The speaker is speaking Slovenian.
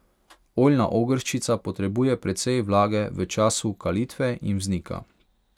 Oljna ogrščica potrebuje precej vlage v času kalitve in vznika.